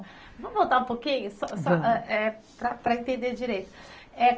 Vamos voltar um pouquinho, vamos, só só para entender direito.